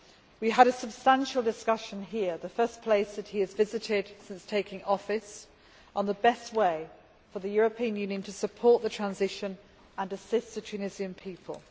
We had a substantial discussion here the first place that he has visited since taking office on the best way for the European Union to support the transition and assist the Tunisian people.